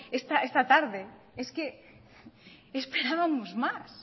tarde es que esperábamos más